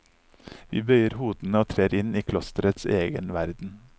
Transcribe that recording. Vi bøyer hodene og trer inn i klosterets egen verden.